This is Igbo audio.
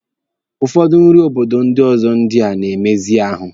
Ụfọdụ nri obodo ọzọ ndị a na-emezi ahụ.